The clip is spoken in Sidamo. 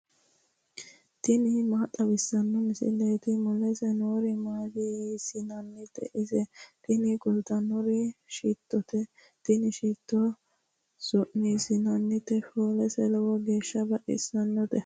tini maa xawissanno misileeti ? mulese noori maati ? hiissinannite ise ? tini kultannori shittote. tini shitto su'niitannotenna foolise lowo geeshsha baxisannote.